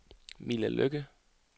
Mille Lykke